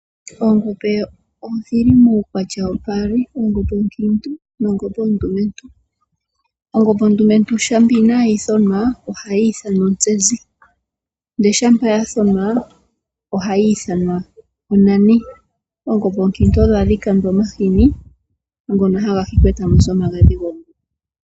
Oongombe odhili muukwatya wo paali, ongombe onkiintu ,nongombe ondumentu. Ongombe ondumentu shampa inayi thonwa ohayi ithanwa otsenzi , ndele shampa ya thonwa ohayi ithanwa ontani. Oongombe oonkiintu odho hadhi kandwa omahini ngoka ha ga hikwa eta mu zi omagadhi.